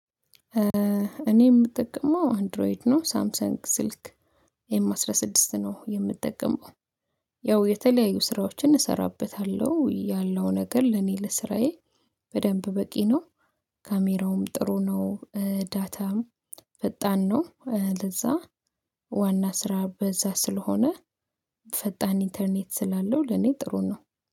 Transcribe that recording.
እኔ የምጠቀመው አንድሮይድ ነው ሳምሰንግ ስልክ ኤም አስራ ስድስት ነው የምጠቀመው። ያው የተለያዩ ስራዎችን እሰራበታለሁ ያለው ነገር ለኔ ለስራዬ በደንብ በቂ ነው። ካሜራውም ጥሩ ነው። ዳታም ፈጣን ነው ለዛ ዋና ስራ በዛ ስለሆነ ፈጣን ኢንተርኔት ስላለው ለኔ ጥሩ ነው